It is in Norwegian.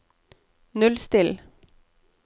nullstill